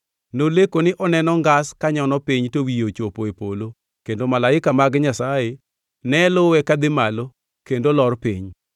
Noleko ni oneno ngas konyono piny to wiye ochopo e polo kendo malaika mag Nyasaye ne luwe kadhi malo kendo lor piny.